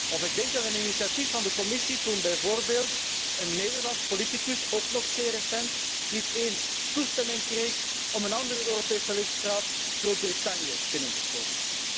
Of ik denk aan een initiatief van de Commissie toen bijvoorbeeld een Nederlands politicus, ook nog zeer recent, niet eens toestemming kreeg om een andere Europese lidstaat, Groot Brittannië, binnen te komen.